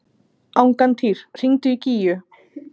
Angantýr, hringdu í Gígju.